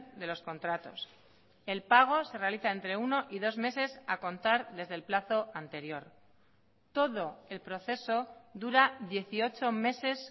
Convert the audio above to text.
de los contratos el pago se realiza entre uno y dos meses a contar desde el plazo anterior todo el proceso dura dieciocho meses